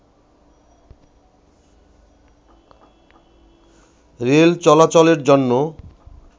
rail চলাচলের জন্য